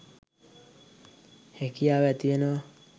හැකියාව ඇතිවෙනවා